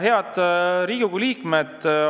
Head Riigikogu liikmed!